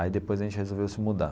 Aí depois a gente resolveu se mudar.